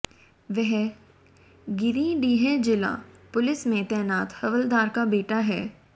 वह गिरिडीह जिला पुलिस में तैनात हवलदार का बेटा है